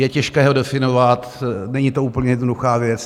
Je těžké ho definovat, není to úplně jednoduchá věc.